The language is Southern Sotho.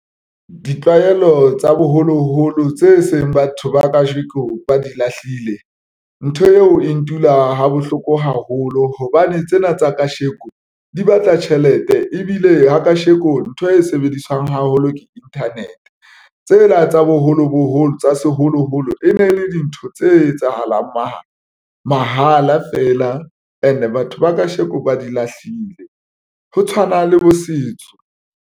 Ditlwaelo tsa boholoholo tse seng batho ba kajeko ba di lahlile. Ntho eo e ntula ha bohloko haholo hobane tsena tsa kasheko di batla tjhelete ebile ha kasheko ntho e sebediswang haholo ke internet tsela tsa boholo boholo tsa seholoholo e ne le dintho tse etsahalang mahala mahala feela. And-e batho ba kasheko ba di lahlile, ho tshwana le bo setso.